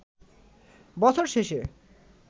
বছর শেষে